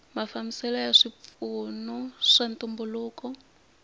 mafambiselo ya swipfuno swa ntumbuluko